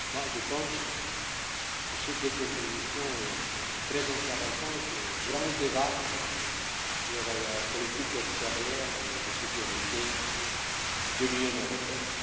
Je pense que ce sont deux contributions très intéressantes au grand débat sur la politique extérieure de sécurité de l'Union européenne.